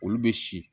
Olu bɛ si